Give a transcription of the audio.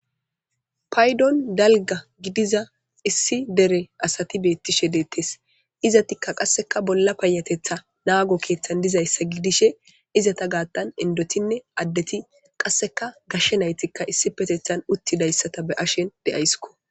Paydon dalga gidiza issi dere asati beetishe de'etees; izetikka qasseka bolla payetetha naago keeththan dizayssa gidishe izeta gattan indotinne addeti qasseka gashe naytikka isipetethan uttidayssata be'aysiko.